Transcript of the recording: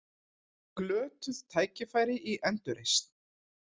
Glötuð tækifæri í endurreisn